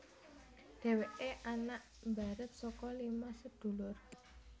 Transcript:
Dhèwèké anak mbarep saka lima sedulur